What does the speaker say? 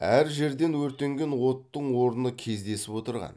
әр жерден өртенген оттың орны кездесіп отырған